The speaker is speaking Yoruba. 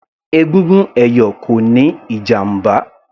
Egungun ẹ̀yọ̀ kò níí ìjàmbá